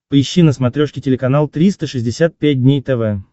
поищи на смотрешке телеканал триста шестьдесят пять дней тв